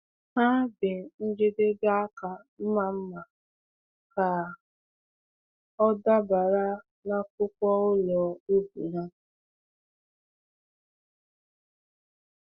Ha bee njedebe aka mma mma ka ọ dabara n’akpụkpọ ụlọ ubi ha.